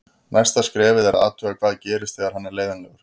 Næsta skrefið er að athuga hvað gerist þegar hann er leiðinlegur.